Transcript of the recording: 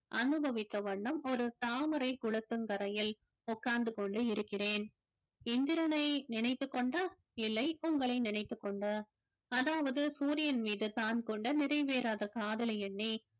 அனுபவித்த வண்ணம் ஒரு தாமரை குளத்தங்கரையில் உட்கார்ந்து கொண்டு இருக்கிறேன் இந்திரனை நினைத்துக் கொண்டா இல்லை உங்களை நினைத்துக் கொண்டு அதாவது சூரியன் மீது தான் கொண்ட நிறைவேறாத காதலை எண்ணி